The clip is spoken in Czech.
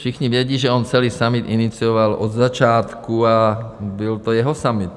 Všichni vědí, že on celý summit inicioval od začátku, a byl to jeho summit.